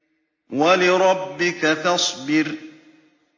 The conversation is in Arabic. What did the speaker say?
وَلِرَبِّكَ فَاصْبِرْ